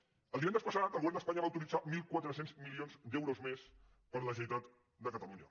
el divendres passat el govern d’espanya va autoritzar mil quatre cents milions d’euros més per a la generalitat de catalunya